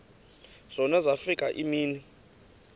zona zafika iimini